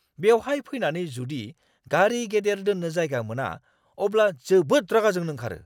बेवहाय फैनानै जुदि गारि गेदेर दोन्नो जायगा मोना, अब्ला जोबोद रागा जोंनो ओंखारो।